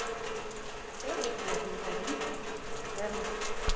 சோறு வைக்கலையா ஜீவிதா நீ